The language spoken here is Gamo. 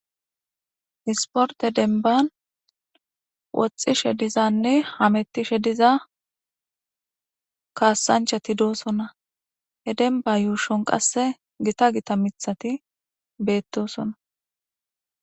Isporte denban woxishe dizanne hametishe diza kasachati dosona he denba yushon qase gita gita mithati betosona